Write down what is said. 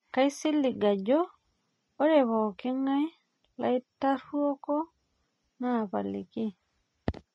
kaisilig ajo ore pooking'ae laitaruoko naapaliki